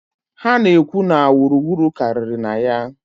Ha na-ekwu na wuru wuru karịrị na ya.